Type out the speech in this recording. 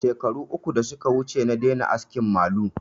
Shekaru uku da suka wuce na daina askin malu